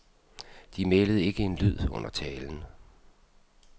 De mælede ikke en lyd under talen.